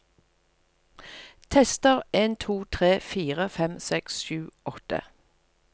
Tester en to tre fire fem seks sju åtte